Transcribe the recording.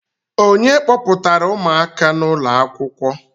Ònye kpọpụtara ụmụaka n'ụlọ akwụkwọ?